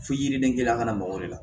Fo yiriden kelen kana mago de la